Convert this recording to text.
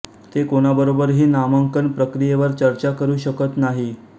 ते कोणाबरोबर ही नामांकन प्रक्रियेवर चर्चा करू शकत नाही